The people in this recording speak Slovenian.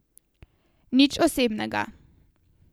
Nič osebnega.